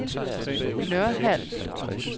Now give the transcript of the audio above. Nørhald